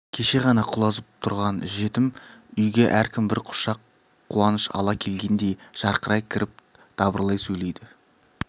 кеше ғана құлазып тұрған жетім үйге әркім бір құшақ қуаныш ала келгендей жарқырай кіріп дабырлай сөйлейді